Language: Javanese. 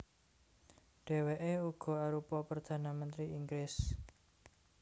Dhèwèké uga arupa perdhana mentri Inggris